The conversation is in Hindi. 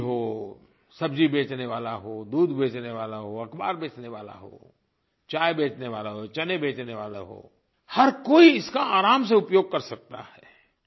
धोबी हो सब्ज़ी बेचनेवाला हो दूध बेचनेवाला हो अख़बार बेचनेवाला हो चाय बेचनेवाला हो चने बेचनेवाला हो हर कोई इसका आराम से उपयोग कर सकता है